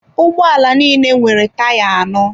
Ụgbọala niile nwere taya anọ.